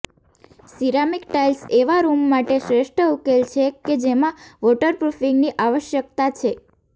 ceramic tiles એવા room માટે શ્રેષ્ઠ ઉકેલ છે કે જેમાં વોટરપ્રુફિંગની આવશ્યકતા છે